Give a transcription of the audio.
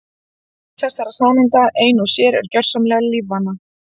Hver þessara sameinda ein og sér er gjörsamlega lífvana.